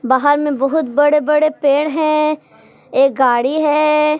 बाहर में बहुत बड़े बड़े पेड़ हैं एक गाड़ी है।